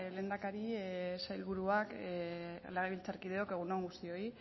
lehendakari sailburuak legebiltzarkideok egun on guztioi